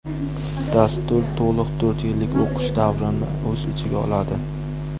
Dastur to‘liq to‘rt yillik o‘qish davrini o‘z ichiga oladi.